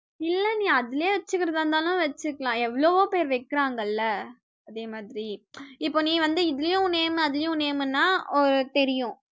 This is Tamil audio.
இல்ல நீ அதுலயே வெச்சுக்கறதா இருந்தாலும் வெச்சுக்கலாம், எவளோ பேர் வெக்கறாங்களா, அதே மாதிரி, இப்போ நீ வந்து இதுலயும் name அதுலயும் name ன்னா அஹ் தெரியும்